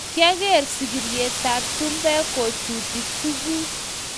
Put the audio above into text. Kyageer sigiryetab chumbek kochuti tuguk